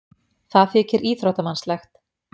Það þykir íþróttamannslegt.